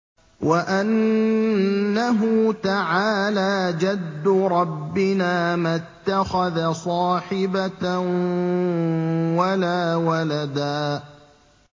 وَأَنَّهُ تَعَالَىٰ جَدُّ رَبِّنَا مَا اتَّخَذَ صَاحِبَةً وَلَا وَلَدًا